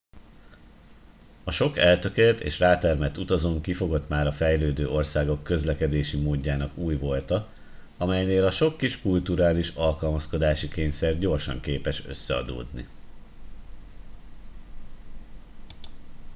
sok eltökélt és rátermett utazón kifogott már a fejlődő országok közlekedési módjának új volta amelynél a sok kis kulturális alkalmazkodási kényszer gyorsan képes összeadódni